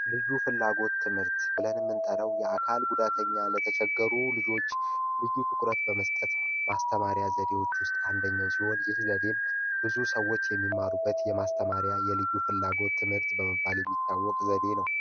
ልዩ ፍላጎት ብለን ምንጠራው የአካል ጉዳተኛ ለተቸገሩ ልጆች የምንጠቀመው የማስተማሪያ ዘዴዎች ውስጥ አንዱ ሲሆን፣ ይህ ዘዴ ብዙ ሰዎች የሚማሩበት የማስተማሪያ የልዩ ፍላጎት በመባል የሚታወቅ ዘዴ ነው።